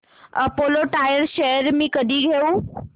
Apollo tyres shares मी कधी घेऊ